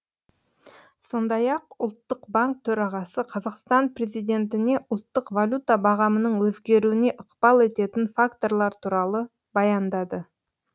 сондай ақ ұлттық банк төрағасы қазақстан президентіне ұлттық валюта бағамының өзгеруіне ықпал ететін факторлар туралы баяндады